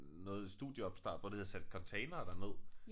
Noget studieopstart hvor de havde sat containere derned